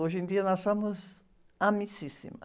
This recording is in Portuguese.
Hoje em dia nós somos amissíssimas.